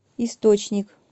источник